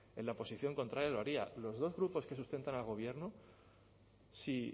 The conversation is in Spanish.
en la posición contraria lo haría los dos grupos que sustentan al gobierno si